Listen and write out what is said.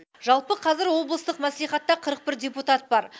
жалпы қазір облыстық мәслихатта қырық бір депутат бар